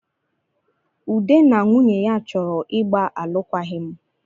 Ude na nwunye ya chọrọ ịgbaalụkwaghị m